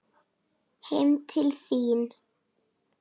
Heim til þín.